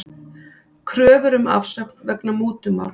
Kröfur um afsögn vegna mútumáls